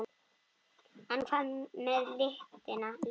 En hvað með litina?